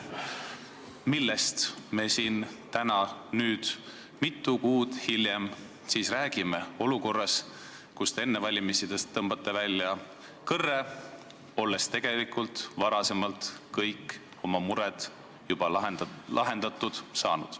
Millest me siin täna, mitu kuud hiljem siis räägime, olukorras, kus te enne valimisi tõmbate välja kõrre, olles tegelikult varasemalt kõik oma mured juba lahendatud saanud?